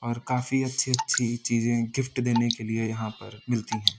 और काफी अच्छी-अच्छी चीजें गिफ्ट देने के लिए यहां पर मिलती हैं।